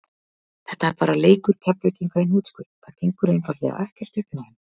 Þetta er bara leikur Keflvíkinga í hnotskurn, það gengur einfaldlega ekkert upp hjá þeim.